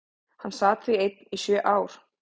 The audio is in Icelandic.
Hann sat því einn í sjö ár.